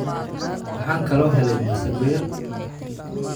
Waxaan kaloo helay masago yar.